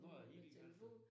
Nu er det hel gal